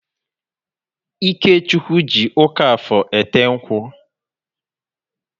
Ikechukwu ji ụka Afọr ete nkwu